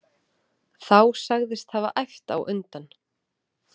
Þá sagðist hafa æft á undan.